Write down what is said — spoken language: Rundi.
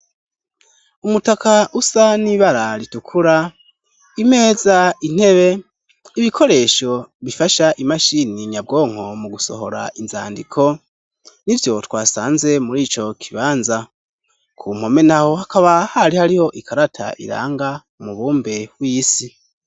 Umutaka usa n'ibararitukura imeza intebe ibikoresho bifasha imashini nyabwonko mu gusohora inzandiko ni vyo twasanze muri ico kibanza ku mpome na ho hakaba hari hariho ikarata iranga umubumbe w'isi.